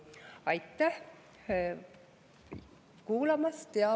Aitäh kuulamast!